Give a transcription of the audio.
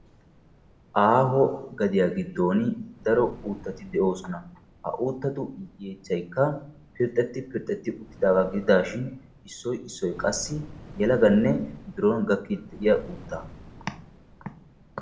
Aaho gadiya giddooni daro uuttati de"oosona. Ha uuttatu yeechchaykka pirxxetti pirxxetti uttidaagaa gididaashin issoy issoy qassi yelaganne biron gakkiiddi diyaa uuttaa.